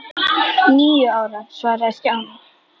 Níu ára svaraði Stjáni.